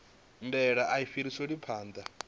ndaela a i fhiriselwi phanḓa